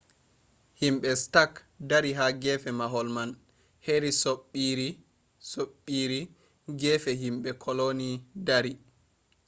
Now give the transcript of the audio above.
himɓe stak dari ha gefe mahol man heri soɓɓiire gefe himɓe koloni dari